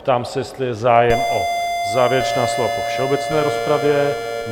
Ptám se, jestli je zájem o závěrečná slova po všeobecné rozpravě?